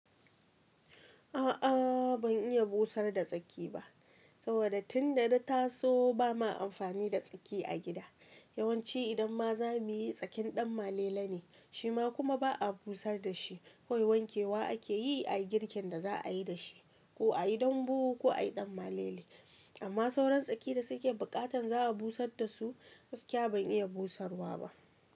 A'a ban iya busar da tsaki ba saboda tunda na taso ba ma amfani da tsaki a gida yawanci idan ma za muyi tsakin ɗan malela ne shima kuma ba'a busar da shi kawai wanke wa ake yi a girkin da za a yi da shi ko a yi dambu ko a yi ɗan malale amma sauran tsaki da suke buƙatan za a busad da su gaskiya ban iya busarwa ba.